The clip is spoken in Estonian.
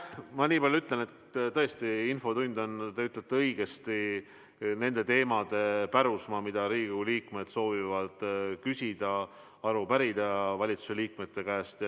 Ma nii palju ütlen, et tõesti, te ütlete õigesti, infotund on nende teemade pärusmaa, mille kohta Riigikogu liikmed soovivad küsida ja aru pärida valitsuse liikmete käest.